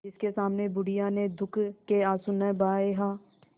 जिसके सामने बुढ़िया ने दुःख के आँसू न बहाये हां